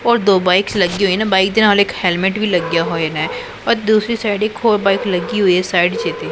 ਉਹ ਦੋ ਬਾਈਕਸ ਲੱਗੀ ਹੋਈ ਨੇ ਬਾਈਕ ਦੇ ਨਾਲ ਇੱਕ ਹੈਲਮੇਟ ਵੀ ਲੱਗਿਆ ਹੋਇਆ ਹੈ ਔਰ ਦੂਸਰੀ ਸਾਈਡ ਇੱਕ ਹੋਰ ਬਾਈਕ ਲੱਗੀ ਹੈ ਸਾਈਡ ਚ ਇਹਦੇ।